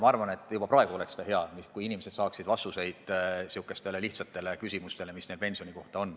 Juba praegu oleks hea, kui inimesed saaksid vastuseid lihtsatele küsimustele, mis neil pensioni kohta on.